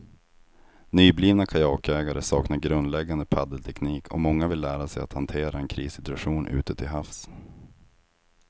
Nyblivna kajakägare saknar grundläggande paddelteknik och många vill lära sig att hantera en krissituation ute till havs.